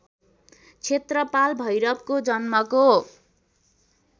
क्षेत्रपाल भैरवको जन्मको